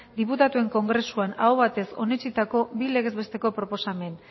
diputatuen kongresuan aho batez onetsitako bi legez besteko proposamen